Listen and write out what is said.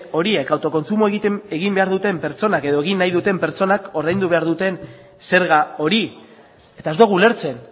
horiek autokontsumoa egin behar duten pertsonak edo egin nahi duten pertsonek ordaindu behar duten zerga hori eta ez dugu ulertzen